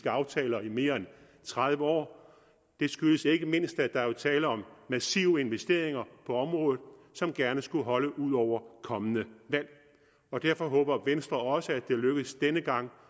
aftaler i mere end tredive år det skyldes ikke mindst at der jo er tale om massive investeringer på området som gerne skulle holde ud over kommende valg derfor håber venstre også at det lykkes denne gang